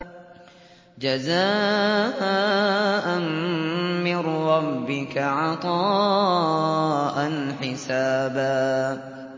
جَزَاءً مِّن رَّبِّكَ عَطَاءً حِسَابًا